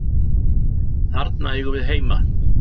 þarna eigum við heima